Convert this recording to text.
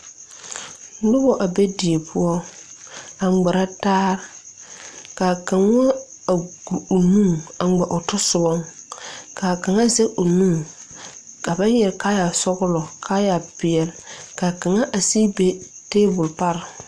Nobɔ a be die poɔ a ngmirɛ taa kaa kaŋa a gu o nu a ngmɛ o tasobɔ kaa kaŋa zege o nu ka ba yɔre kaayɛ sɔglɔ kaayɛ peɛle kaa kaŋa a sige be tabol pare.